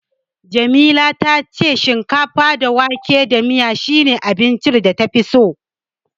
Jamila ta ce shinkafa da wake da miya shine abincin da tafi so.